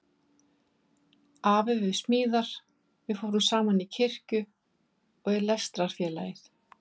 Afi við smíðar- við fórum saman í kirkju og í Lestrarfélagið.